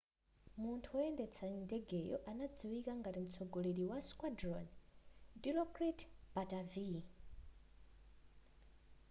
munthu woyendetsa ndegeyo anadziwika ngati mtsogoleri wa squadron dilokrit pattavee